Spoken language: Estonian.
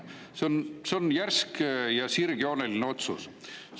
See on järsk ja sirgjooneline otsus.